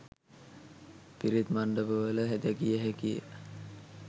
පිරිත් මණ්ඩප වල දැකිය හැකිය